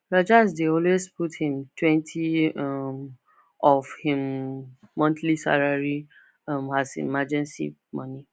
rajesh dey always put himtwenty[um] of him um monthly salary um as emergency money